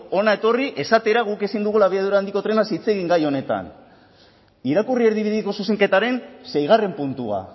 hona etorri esatera guk ezin dugula abiadura handiko trenaz hitz egin gai honetan irakurri erdibideko zuzenketaren seigarren puntua